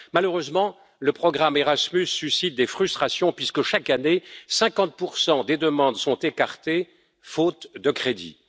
Malheureusement, le programme Erasmus suscite des frustrations puisque chaque année 50 des demandes sont écartées, faute de crédits.